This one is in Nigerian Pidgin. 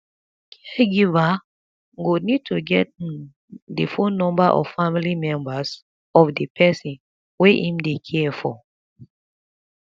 caregiver go need to get um di phone number of family members of di person wey im dey care for